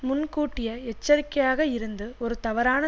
முன்கூட்டியே எச்சரிக்கையாக இருந்து ஒரு தவறான